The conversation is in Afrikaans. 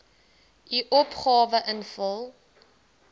u opgawe invul